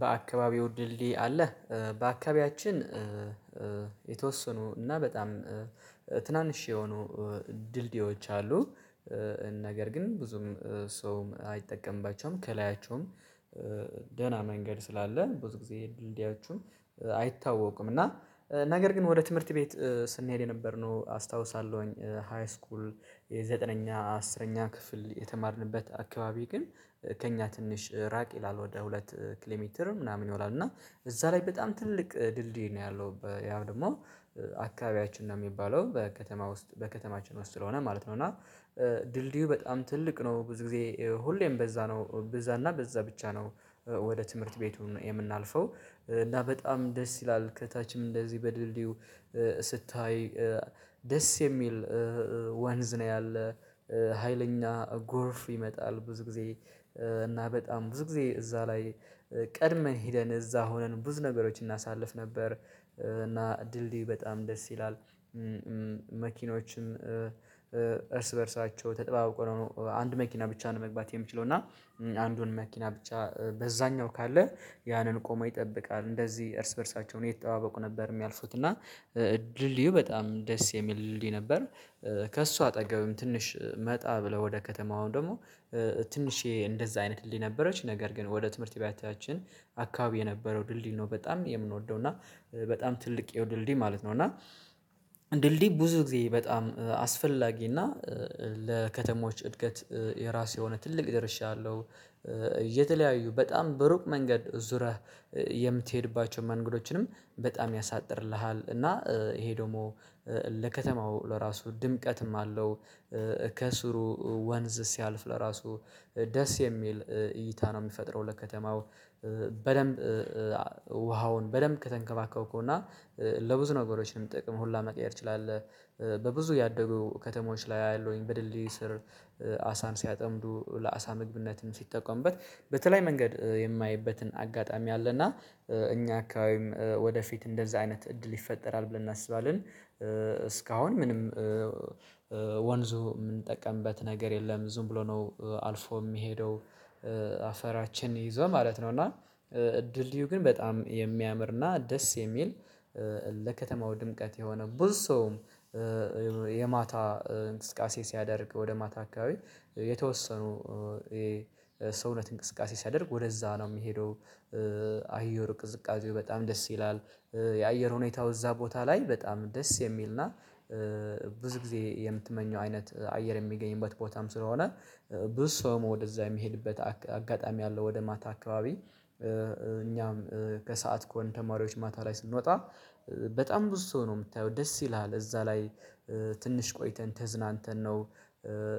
በአካባቢው ድልድይ አለ። በአካባቢያችን የተወሰኑ እና በጣም ትናንሽ የሆኑ ድልድዮች አሉ። ነገር ግን ብዙም ሰውም አይጠቀምባቸውም ከላያቸውም። ደህና መንገድ ስላለ ብዙ ጊዜ ድልድያችሁን አይታወቁም። እና ነገር ግን ወደ ትምህርት ቤት ስንሄድ የነበርነው አስታውሳለሁኝ። ሃይስኩል የዘጠነኛ አስረኛ ክፍል የተማርንበት አካባቢ ግን ከእኛ ትንሽ ራቅ ይላል ወደ ሁለት ኪሌሜትር ምናምን ይሆናል። እና እዛ ላይ በጣም ትልቅ ድልድይ ነው ያለው ያው ደግሞ አካባቢያችን ነው የሚባለው በከተማ ውስጥ በከተማችን ውስጥ ስለሆነ ማለት ነው። እና ድልድዩ በጣም ትልቅ ነው ብዙ ጊዜ ሁሌም በዛ ነው በዛ እና በዛ ብቻ ነው። ወደ ትምህርት ቤቱ የምናልፈው እና በጣም ደስ ይላል። ከታችም እንደዚህ በድልድዩ ስታይ ደስ የሚል ወንዝ ነው ያለ። ሀይለኛ ጎርፍ ይመጣል ብዙ ጊዜ እና በጣም ብዙ ጊዜ እዛ ላይ ቀድመን ሄደን እዛ ሆነን ብዙ ነገሮችን እናሳልፍ ነበር። እና ድልድይ በጣም ደስ ይላል። መኪኖችን እርስ በእርሳቸው ተጠባብቆ ነው አንድ መኪና ብቻ ነው መግባት የምችለው እና አንዱን መኪና ብቻ በዛኛው ካለ ያንን ቆሞ ይጠብቃል እንደዚህ እርስ በእርሳቸውን የተጠባበቁ ነበር የሚያልፉት እና ድልድዩ በጣም ደስ የሚል ድልድይ ነበር። ከእሱ አጠገብም ትንሽ መጣ ብለው ወደ ከተማው ደግሞ ትንሽየ እንደዛ አይነት ድልድይ ነበረች። ነገር ግን ወደ ትምህርት ቤታችን አካባቢ የነበረው ድልድይ ነው በጣም የምንወደው እና በጣም ትልቅ የው ድልድይ ማለት ነው። እና ድልድይ ብዙ ጊዜ በጣም አስፈላጊ እና ለከተሞች እድገት የራሱ የሆነ ትልቅ ድርሻ አለው። የተለያዩ በጣም በሩቅ መንገድ ዙረህ የምትሄድባቸውን መንገዶችንም በጣም ያሳጥርልሃል እና ይሄ ደግሞ ለከተማው ለራሱ ድምቀትም አለው። ከስሩ ወንዝ ሲያልፍ ለራሱ ደስ የሚል እይታ ነው የሚፈጥረው። ለከተማው በደንብ ውሃውን በደንብ ከተንከባከብከው እና ለብዙ ነገሮች ጥቅም ሁላ መቀየር ትችላለህ። በብዙ ያደጉ ከተሞች ላይ አያለሁኝ በድልድይ ስር አሳን ሲያጠምዱ ለአሳ ምግብነትም ሲጠቀምበት በተለይ መንገድ የማየበትን አጋጣሚ አለና እኛ አካባቢም ወደፊት እንደዛ አይነት እድል ይፈጠራል ብለን እናስባለን። እስካሁን ምንም ወንዙ የምንጠቀምበት ነገር የለም ዝም ብሎ ነው አልፎ የሚሄደው። አፈራችን ይዞ ማለት ነው። እና ድልድይው ግን በጣም የሚያምርና ደስ የሚል ለከተማው ድምቀት የሆነ ብዙ ሰውም የማታ እንቅስቃሴ ሲያደርግ ወደ ማታ አካባቢ የተወሰኑ የሰውነት እንቅስቃሴ ሲያደርግ ወደዛ ነው የሚሄደው። አየር ቅዝቃዜው በጣም ደስ ይላል። የአየር ሁኔታው እዛ ቦታ ላይ በጣም ደስ የሚልና ብዙ ጊዜ የምትመኘው አይነት አየር የሚገኝበት ቦታም ስለሆነ። ብዙ ሰው ወደዛ የሚሄድበት አጋጣሚ ያለው ወደ ማታ አካባቢ እኛም ከሰአት ከሆን ተማሪዎች ማታ ላይ ስንወጣ በጣም ብዙ ሰው ነው የምታየው ደስ ይልሃል። እዛ ላይ ትንሽ ቆይተን ተዝናንተን ነው።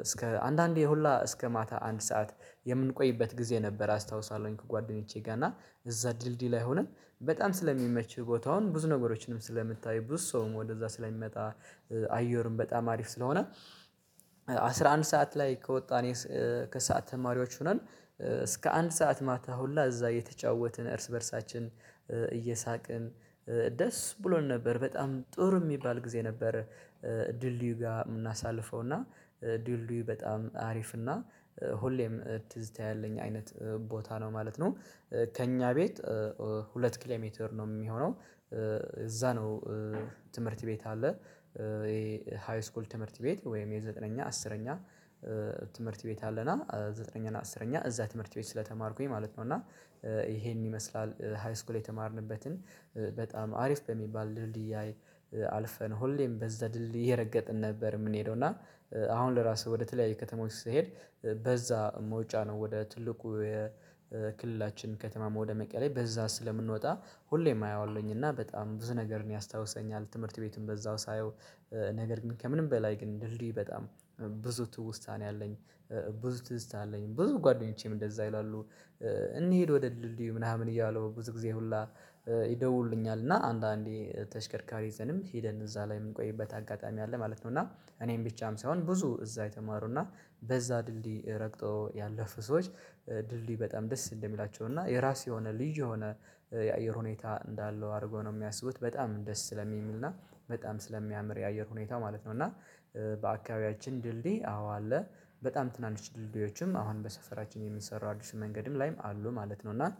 እስከ አንዳንዴ ሁላ እስከ ማታ አንድ ሰዓት የምንቆይበት ጊዜ ነበር። አስታውሳለሁኝ ከጓደኞቼ ጋር እና እዛ ድልድይ ላይ ሆንን በጣም ስለሚመች ቦታውን ብዙ ነገሮችንም ስለምታዩ ብዙ ሰውም ወደዛ ስለሚመጣ አየሩም በጣም አሪፍ ስለሆነ። አስራ አንድ ሰዓት ላይ ከወጣን ከሰአት ተማሪዎች ሆነን እስከ አንድ ሰዓት ማታ ሁላ እዛ እየተጫወትን እርስ በእርሳችን እየሳቅን ደስ ብሎን ነበር። በጣም ጥሩ የሚባል ጊዜ ነበረ። ድልድዩ ጋር የምናሳልፈው እና ድልድዩ በጣም አሪፍ እና ሁሌም ትዝታ ያለኝ አይነት ቦታ ነው ማለት ነው። ከእኛ ቤት ሁለት ኪሎሜትር ነው የሚሆነው። እዛ ነው። ትምህርት ቤት አለ። ይሄ ሃይስኮል ትምህርት ቤት ወይም የዘጠነኛ አስረኛ ትምህርት ቤት አለና ዘጠነኛ እና አስረኛ እዛ ትምህርት ቤት ስለተማርኩኝ ማለት ነው። እና ይሄን ይመስላል ሃይስኩል የተማርንበትን በጣም አሪፍ በሚባል ድልድይ አልፈን ሁሌም በዛ ድልድይ የረገጥን ነበር የምንሄደው። እና አሁን ለራሱ ወደ ተለያዩ ከተማ ስትሄድ በዛ መውጫ ነው ወደ ትልቁ የክልላችን ከተማ ወደመቀሌ በዛ ስለምንወጣ ሁሌም አየዋለሁኝ እና በጣም ብዙ ነገር ነው ያስታውሰኛል። ትምህርት ቤቱን በዛው ሳየው ነገር ግን ከምንም በላይ ግን ድልድዩ በጣም ብዙ ትውስታ ነው ያለኝ። ብዙ ትዝታ አለኝ ብዙ ጓደኞቼም እንደዛ ይላሉ። እንሂድ ወደ ድልድዩ ምናምን እያሉ ብዙ ጊዜ ሁላ ይደውሉልኛል እና አንዳንዴ ተሽከርካሪ ይዘንም ሄደን እዛ ላይ የምንቆይበት አጋጣሚ አለ ማለት ነው። እና እኔም ብቻም ሳይሆን ብዙ እዛ የተማሩና በዛ ድልድይ ረግጦ ያለፉ ሰዎች ድልድይ በጣም ደስ እንደሚላቸው እና የራስ የሆነ ልዩ የሆነ የአየር ሁኔታ እንዳለው አድርጎ ነው የሚያስቡት። በጣም ደስ ስለሚልና በጣም ስለሚያምር የአየር ሁኔታ ማለት ነው። እና በአካባቢያችን ድልድይ አዎ አለ። በጣም ትናንሽ ድልድዮችም አሁን በሰፈራችን የሚሰራው አዲስ መንገድም ላይም አሉ ማለት ነው። እና